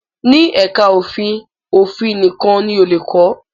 Ní Ẹ̀ká ẹ̀kọ́ òfin, òfin nìkan ni o lè kọ̀